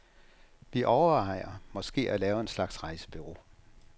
Vi overvejer måske at lave en slags rejsebureau.